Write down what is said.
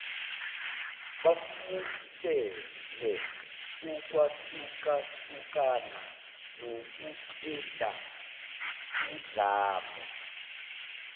bamukele ukwahlukahlukana nokuqedaudlame